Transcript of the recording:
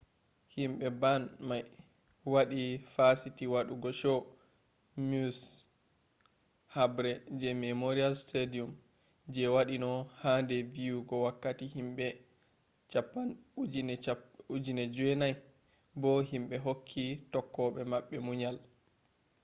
himbe band mai wadi fasiti wadugo show maui’s habre je memorial stadium je wadino ha do viyugo wakkati himbe 9,000 bo himbe hokke tokkobe mabbe munyal